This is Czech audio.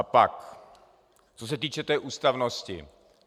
A pak co se týče té ústavnosti.